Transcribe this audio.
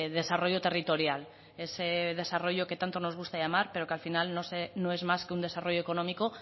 desarrollo territorial ese desarrollo que tanto nos gusta llamar pero que al final no es más que un desarrollo económico